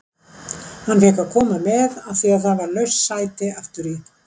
Hann fékk að koma með af því að það var laust sæti aftur í.